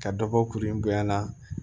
Ka dɔ bɔ kuru in bonyana